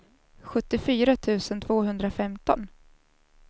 sjuttiofyra tusen tvåhundrafemton